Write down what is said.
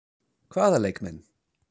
Hvaða leikmenn?